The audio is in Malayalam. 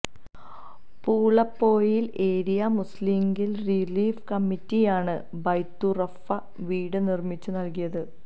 പൂളപ്പൊയിൽ ഏരിയ മുസ്ലിംലീഗ് റിലീഫ് കമ്മിറ്റിയാണ് ബൈത്തുറഹ്മ വീട് നിർമിച്ചു നൽകിയത്